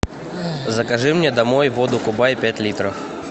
закажи мне домой воду кубай пять литров